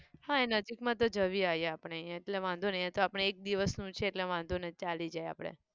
હા એ નજીકમાં તો જઈ આવીએ આપણે અહીંયા એટલે વાંધો નહિ અહીંયા તો આપણે એક દિવસનું છે એટલે વાંધો નહિ ચાલી જાય આપણે.